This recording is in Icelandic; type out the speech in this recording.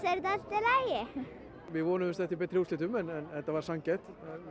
lagi við vonuðumst eftir betri úrslitum en þetta var sanngjarnt